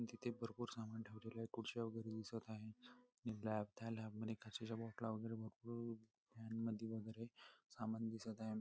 तिथे भरपूर सामान ठेवलेलेय खुडच्या वगेरे दिसत आहे आणि लॅब त्या लॅब मध्ये काचेच्या बॉटला वगैरे भरपूर फॅन मधी वगेरे सामान दिसत आहे.